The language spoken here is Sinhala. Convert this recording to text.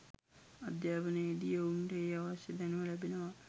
අධ්‍යාපනයේදී ඔවුන්ට ඒ අවශ්‍ය දැනුම ලැබෙනවා